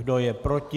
Kdo je proti?